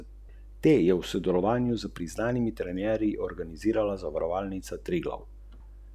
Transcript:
Vstopni kupci bodo prikimali daljšemu seznamu serijske opreme.